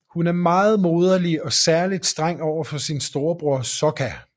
Hun er meget moderlig og er særligt streng overfor sin storebror Sokka